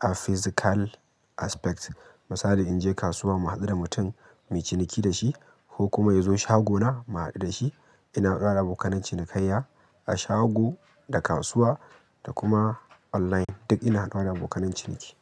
a physical aspect. Misali in je kasuwa mu haɗu da mutun mui ciniki da shi ko kuma ya zo shagona mu haɗu da shi. Ina haɗuwa da abokanan cinikayya a shago, da kasuwa da kuma online duk ina haɗuwa da abokananciniki.